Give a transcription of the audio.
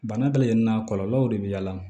Bana bɛ lajɛ nin na kɔlɔlɔw de bɛ y'a la